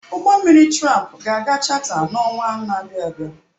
Ụgbọ mmiri tramp ga aga chata n'ọnwa na abịa abịa.